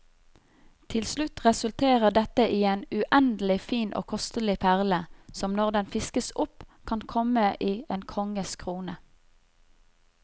Til slutt resulterer dette i en uendelig fin og kostelig perle, som når den fiskes opp kan komme i en konges krone.